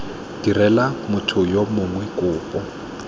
direla motho yo mongwe kopo